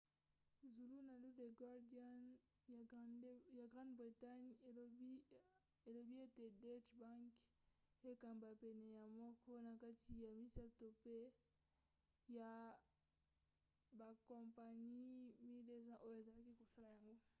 zulunalu the guardian ya grande bretagne elobi ete deutsche bank ekamba pene ya moko na kati ya misato ya bakompani 1200 oyo ezalaki kosala yango